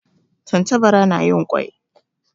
Tantabara na yin kwai